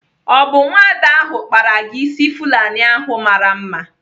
Ọ bụ nwada ahụ kpara gị ịsị Fulani ahụ mara mma?